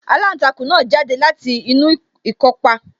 Aláǹtakùn náà jáde láti inú ikọ́pá